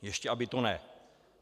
Ještě aby to ne!